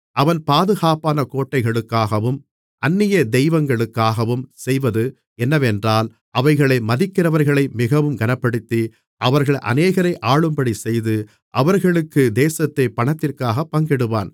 அவன் பாதுகாப்பான கோட்டைகளுக்காகவும் அந்நிய தெய்வங்களுக்காகவும் செய்வது என்னவென்றால் அவைகளை மதிக்கிறவர்களை மிகவும் கனப்படுத்தி அவர்கள் அநேகரை ஆளும்படிச் செய்து அவர்களுக்கு தேசத்தைக் பணத்திற்காகப் பங்கிடுவான்